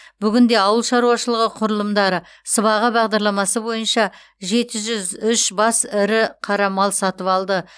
бүгінде ауыл шаруашылығы құрылымдары сыбаға бағдарламасы бойынша жеті жүз үш бас ірі қара мал сатып алды